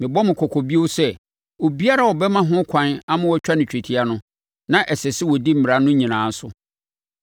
Mebɔ mo kɔkɔ bio sɛ obiara a ɔbɛma ho ɛkwan ama wɔatwa no twetia no, na ɛsɛ sɛ ɔdi Mmara no nyinaa so.